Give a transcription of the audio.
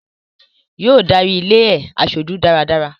Yóò darí ilé e aṣojú dáradára